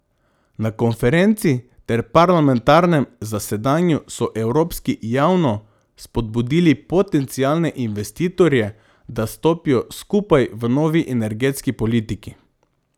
Na konferenci ter parlamentarnem zasedanju so evropski javno spodbudili potencialne investitorje, da stopijo skupaj v novi energetski politiki.